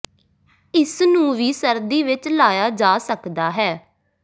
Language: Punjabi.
ਇਸ ਨੂੰ ਵੀ ਸਰਦੀ ਵਿੱਚ ਲਾਇਆ ਜਾ ਸਕਦਾ ਹੈ